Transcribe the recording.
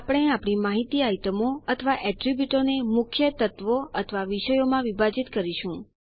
આપણે આપણી માહિતી આઈટમો અથવા એટ્રીબ્યુટોને મુખ્ય તત્વો અથવા વિષયોમાં વિભાજીત કરીશું